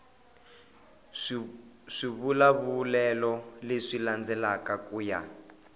swivulavulelo leswi landzelaka ku ya